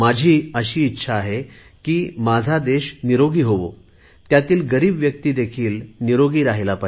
माझी अशी इच्छा आहे की माझा पूर्ण देश निरोगी व्हावा त्यातील गरीब व्यक्तीदेखील निरोगी रहावी